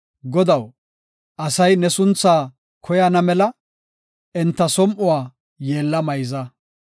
Godaw, asay ne sunthaa koyana mela, enta som7uwa yeella mayza.